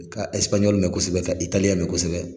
I ka mɛ kosɛbɛ ka mɛ kosɛbɛ